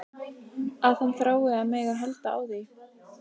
Að hann þrái að mega halda á því.